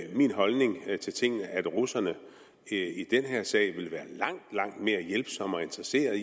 er min holdning til tingene at russerne i den her sag vil være langt langt mere hjælpsomme og interesserede